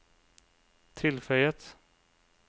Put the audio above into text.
tilføyet